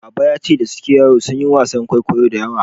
Baba yace da yake yaro sunyi wasan kwaikwayo da yawa